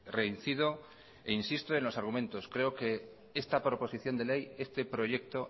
reincido e insisto en los argumentos creo que esta proposición de ley este proyecto